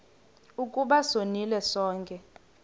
ukuba sonile sonke